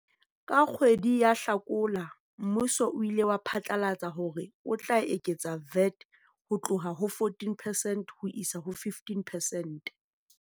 Ka kgwedi ya Hlakola mmuso o ile wa phatlalatsa hore o tla eketsa VAT ho tloha ho 14 percent ho isa ho 15 percent.